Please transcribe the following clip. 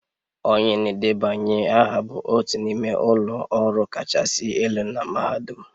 Onye na-edebanye aha bụ otu n'ime ụlọ ọrụ kachasị elu na mahadum